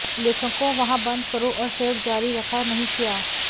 लेखकों वहाँ बंद करो और सहयोग जारी रखा नहीं किया